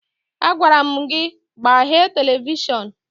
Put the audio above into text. Agwara m gị gbaghee televishọn!